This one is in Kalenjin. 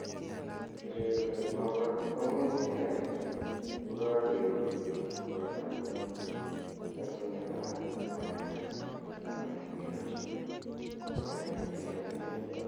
Kererunet notok komuch keai kokakeruu borto eng kasunet ab ngw�onindo anan kiruu �konyek ichekei